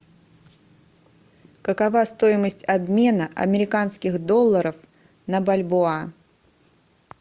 какова стоимость обмена американских долларов на бальбоа